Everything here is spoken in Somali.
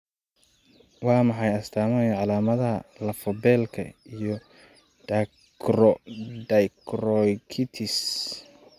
Waa maxay astamaha iyo calaamadaha lafo-beelka iyo dacryocystitis?